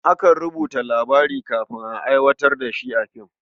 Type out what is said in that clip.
Akan rubuta labari kafin a aiwatar da shi a film.